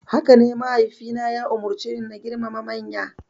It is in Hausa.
Hakane, mahaifina ya umarceni na girmama manya.